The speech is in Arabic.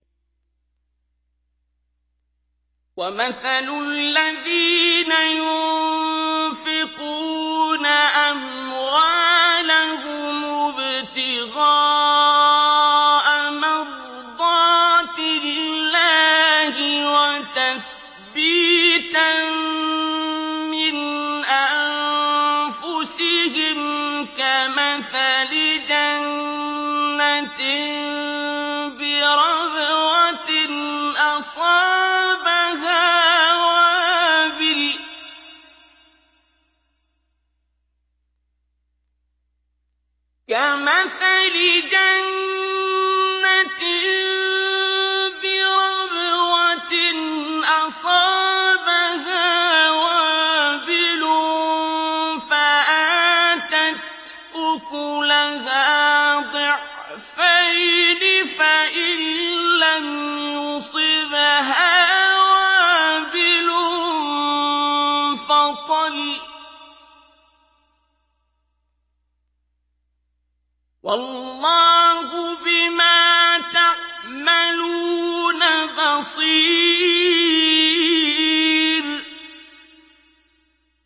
وَمَثَلُ الَّذِينَ يُنفِقُونَ أَمْوَالَهُمُ ابْتِغَاءَ مَرْضَاتِ اللَّهِ وَتَثْبِيتًا مِّنْ أَنفُسِهِمْ كَمَثَلِ جَنَّةٍ بِرَبْوَةٍ أَصَابَهَا وَابِلٌ فَآتَتْ أُكُلَهَا ضِعْفَيْنِ فَإِن لَّمْ يُصِبْهَا وَابِلٌ فَطَلٌّ ۗ وَاللَّهُ بِمَا تَعْمَلُونَ بَصِيرٌ